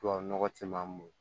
Tubabu nɔgɔ ti ban mun